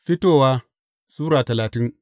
Fitowa Sura talatin